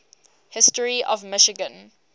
history of michigan